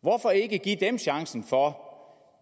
hvorfor ikke give dem chancen for